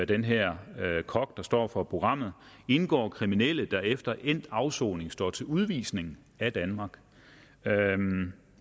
den her kok der står for programmet indgår kriminelle der efter endt afsoning står til udvisning af danmark